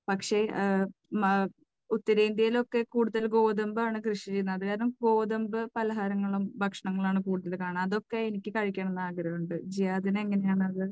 പക്ഷേ ഉത്തരേന്ത്യയിൽ ഒക്കെ കൂടുതൽ ഗോതമ്പാണ് കൃഷി ചെയ്യുന്നത്. അതുകാരണം, ഗോതമ്പ് പലഹാരങ്ങളും ഭക്ഷണങ്ങളും ആണ് കൂടുതൽ കാണുക. അതൊക്കെ എനിക്ക് കഴിക്കണം എന്ന് ആഗ്രഹമുണ്ട്. ജിയാദിന് എങ്ങനെയാണത്?